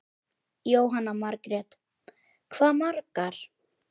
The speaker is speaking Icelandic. Jóhanna Margrét: Hvað margar?